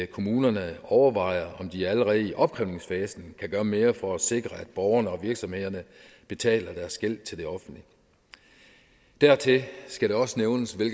kommunerne overvejer om de allerede i opkrævningsfasen kan gøre mere for at sikre at borgerne og virksomhederne betaler deres gæld til det offentlige dertil skal det også nævnes hvad